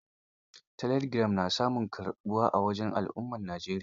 Telegiram na samun karɓuwa a wajen al'ummar Najeriya.